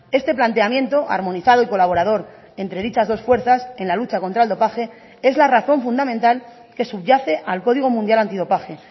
este planteamiento armonizado y colaborador entre dichas dos fuerzas en la lucha contra el dopaje es la razón fundamental que subyace al código mundial antidopaje